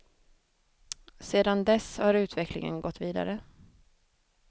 Sedan dess har utvecklingen gått vidare.